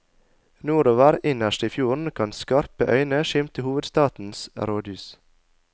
Nordover, innerst i fjorden, kan skarpe øyne skimte hovedstadens rådhus.